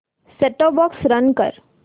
set top box run कर